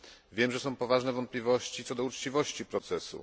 Wiem, że są poważne wątpliwości co do uczciwości procesu.